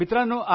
मित्रांनो